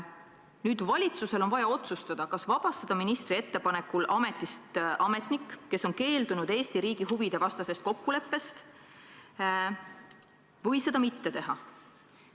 Nüüd on vaja valitsusel otsustada, kas vabastada ministri ettepanekul ametist ametnik, kes on keeldunud Eesti riigi huvide vastasest kokkuleppest, või seda mitte teha.